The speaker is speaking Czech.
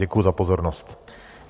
Děkuju za pozornost.